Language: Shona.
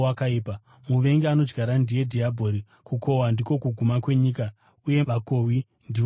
muvengi anoadyara ndiye dhiabhori. Kukohwa ndiko kuguma kwenyika, uye vakohwi ndivo vatumwa.